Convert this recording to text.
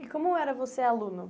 E como era você aluno?